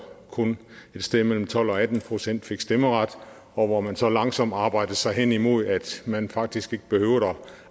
kun et sted mellem tolv og atten procent fik stemmeret og hvor man så langsomt arbejdede sig hen imod at man faktisk ikke behøvede at